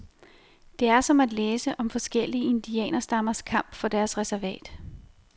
Det er som at læse om forskellige indianerstammers kamp for deres reservat.